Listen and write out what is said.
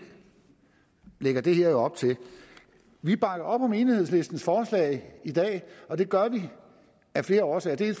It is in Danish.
lægger det jo op til vi bakker op om enhedslistens forslag i dag og det gør vi af flere årsager vi